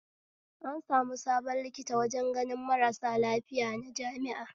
An sami sabon likita wajen ganin marasu lafiya na jami'a